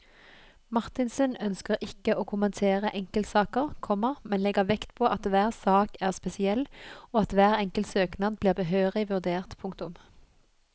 Marthinsen ønsker ikke å kommentere enkeltsaker, komma men legger vekt på at hver sak er spesiell og at hver enkelt søknad blir behørig vurdert. punktum